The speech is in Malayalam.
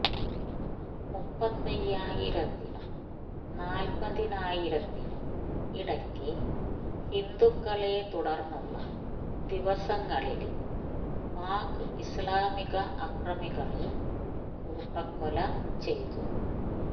മുപ്പത്തയ്യായിരത്തിനും നാല്പ്പതിനായിരത്തിനും ഇടയ്ക്ക് ഹിന്ദുക്കളെ തുടര്ന്നുള്ള ദിവസങ്ങളില് പാക് ഇസ്ലാമിക അക്രമികള് കൂട്ടക്കൊല ചെയ്തു